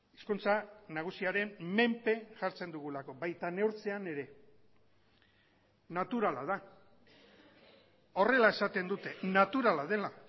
hizkuntza nagusiaren menpe jartzen dugulako baita neurtzean ere naturala da horrela esaten dute naturala dela